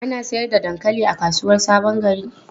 Ana sayar da dankali a kasuwar Sabon Gari?